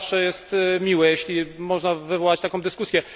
To zawsze jest miłe, jeśli można wywołać taką dyskusję.